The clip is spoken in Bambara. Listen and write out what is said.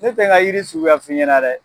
Ne tɛ n ka jiri suguya f'i ɲɛ na dɛ!